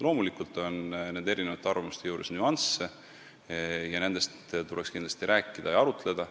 Loomulikult on erinevaid arvamusi ja nüansse, millest tuleks kindlasti rääkida ja mille üle arutleda.